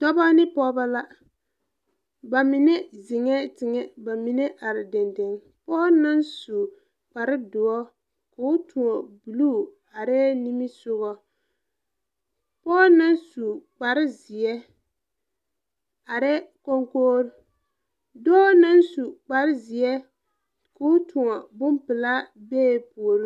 Dɔbɔ ne pɔɔbɔ la ba mine zeŋɛɛ teŋɛ ba mine are deŋdeŋ pɔɔ naŋ su kparedoɔ koo tõɔ bluu areɛɛ nimisugɔ pɔɔ naŋ su kpare zeɛ areɛɛ konkogre dɔɔ naŋ su kpare zeɛ koo tõɔ bonpilaa bee puoriŋ.